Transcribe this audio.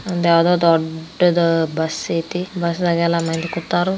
ಇದ್ಯಾವುದೋ ದೊಡ್ಡದಾದ ಬಸ್ ಐತಿ ಬಸ್ಸದಾಗ್ ಎಲ್ಲ ಮಂದಿ ಕುತ್ತಾರು